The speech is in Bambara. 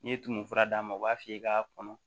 N'i ye tumu fura d'a ma u b'a f'i ye k'a kɔnɔ